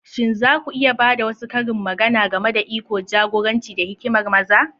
Shin za ku iya ba da wasu karin magana game da iko, jagoranci, da hikimar maza?